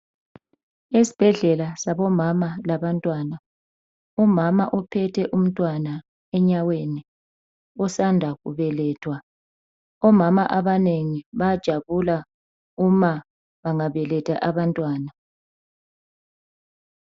Esibhedlela sabomama labantwana. Umama uphethe umntwana enyaweni. Osanda kubelethwa. Omama abanengi, bayajabula uma bengabeletha abantwana.